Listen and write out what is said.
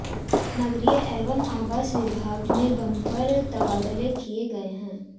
नगरीय एवं आवास विभाग में बंपर तबादले किए गए हैं